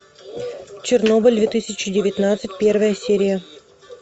чернобыль две тысячи девятнадцать первая серия